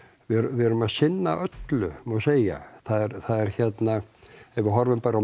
við erum að sinna öllu má segja það er hérna ef við horfum bara